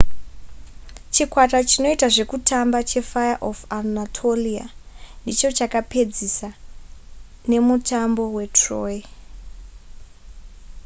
chikwata chinoita zvekutamba chefire of anatolia ndicho chakazopedzisa nemutambo we troy